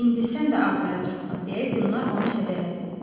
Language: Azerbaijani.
İndi sən də ağlayacaqsan deyə Gülnar onu hədələdi.